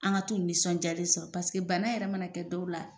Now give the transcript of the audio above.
An ka t'u nisɔndiyalen sɔrɔ bana yɛrɛ ma na kɛ dɔw la